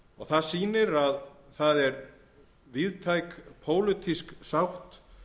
það sýnir að það er víðtæk pólitísk sátt